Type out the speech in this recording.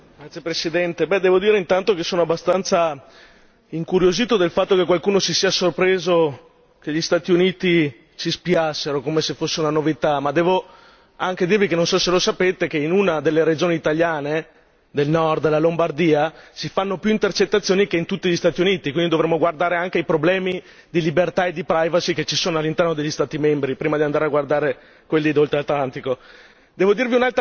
Signor Presidente, onorevoli colleghi, devo dire, intanto, che sono abbastanza incuriosito dal fatto che qualcuno si sia sorpreso che gli Stati Uniti ci spiassero come se fosse una novità ma devo anche dirvi non so se lo sapete che in una delle regioni italiane del nord, la Lombardia, si fanno più intercettazioni che in tutti gli Stati Uniti, quindi dovremmo guardare anche ai problemi di libertà e di privacy che ci sono all'interno degli Stati membri prima di andare a guardare quelli di oltre Atlantico.